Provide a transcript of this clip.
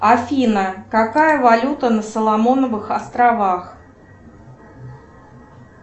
афина какая валюта на соломоновых островах